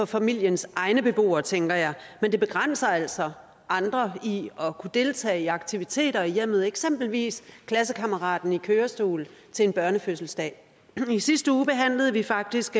familiens egne beboere tænker jeg men det begrænser altså andre i at kunne deltage i aktiviteter i hjemmet eksempelvis en klassekammerat i kørestol til en børnefødselsdag i sidste uge behandlede vi faktisk